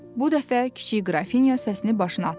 Bu dəfə kiçik Qrafinya səsini başına atırdı.